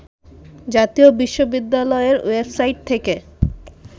জাতীয় বিশ্ববিদ্যালয়ের ওয়েবসাইট থেকে